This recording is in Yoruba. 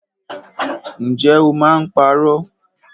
Ǹjẹ́ o máa ń parọ́?